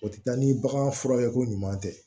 O tɛ taa ni bagan furakɛ ko ɲuman tɛ